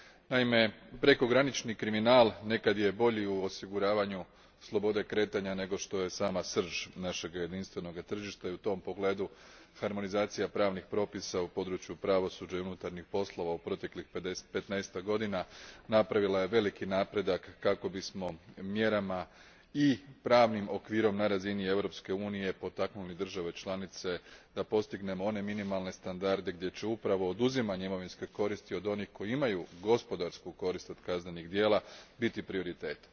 Naime, prekogranični kriminal nekad je bolji u osiguravanju slobode kretanja nego što je sama srž našega jedinstvenoga tržišta, i u tom pogledu harmonizacija pravnih propisa u području pravosuđa i unutarnjih poslova u proteklih petnaestak godina napravila je veliki napredak kako bismo mjerama i pravnim okvirom na razini Europske unije potaknuli države članice da postignemo one minimalne standarde gdje će upravo oduzimanje imovinske koristi od onih koji imaju gospodarsku korist od kaznenih djela biti prioritet.